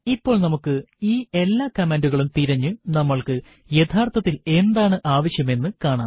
ഇപ്പോൾ നമുക്ക് ഈ എല്ലാ കമാൻഡുകളും തിരഞ്ഞു നമ്മൾക്ക് യഥാർത്ഥത്തിൽ എന്താണ് ആവശ്യം എന്ന് കാണാം